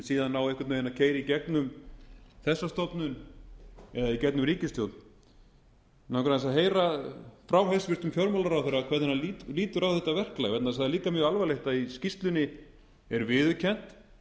síðan á einhvern veginn að keyra í gegnum þessa stofnun eða í gegnum ríkisstjórn mig langar aðeins að heyra frá hæstvirtum fjármálaráðherra hvernig hann lítur á þetta verklag vegna þess að það er líka mjög alvarlegt að í skýrslunni er viðurkennt